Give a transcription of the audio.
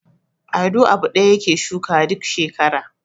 Ado abu ɗaya yake shukawa duk shekara.